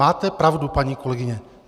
Máte pravdu, paní kolegyně.